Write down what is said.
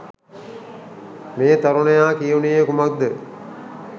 මේ තරුණයා කියනුයේ කුමක්‌ද?